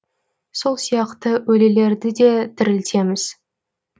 сол сияқты өлілерді де тірілтеміз